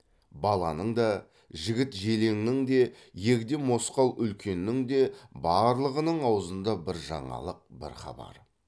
баланың да жігіт желіңнің де егде мосқал үлкеннің де барлығының аузында бір жаңалық бір хабар